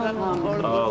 Var olsun.